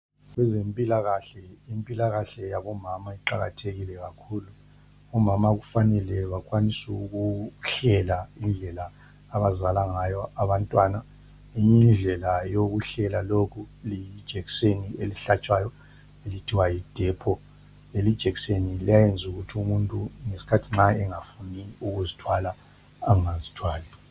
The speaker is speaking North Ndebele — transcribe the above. Kwezempilakahle impilakahle yabomama iqalathekile kakhulu. Omama kufanele bakwanise ukuhlela indlela abazala ngayo abantwana. Eyinye indlela yokuhlela lokhu lijekiseni elihlatshwayo elithiwa yiDepo. Lelijekiseni liyayenza ukuthi nxa umuntu ngesikhathi engafuni ukuzithwala engazithwali.